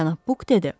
Cənab Buk dedi.